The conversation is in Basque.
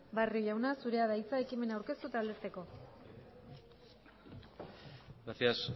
barrio jauna zurea da hitza ekimena aurkeztu eta aldezteko gracias